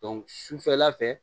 sufɛla fɛ